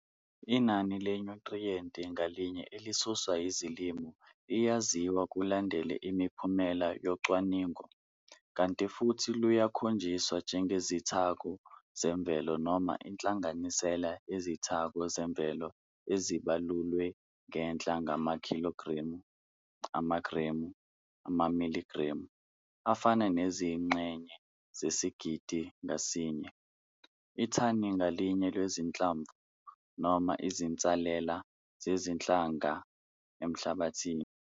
Inani lenyuthriyenti ngalinye elisuswa yizilimo liyaziwa kulandela imiphumela yocwaningo, kanti futhi luyakhonjiswa njengezithako zemvelo noma inhlanganisela yezithako zemvelo ezibalulwe ngenhla ngamakhilogremu, amagremu, amamiligremu, afana nezingxenye zesigidi ngasinye, ithani ngalinye lwezinhlamvu noma izinsalela zezinhlanga emhlabathini.